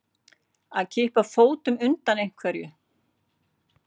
Að kippa fótunum undan einhverju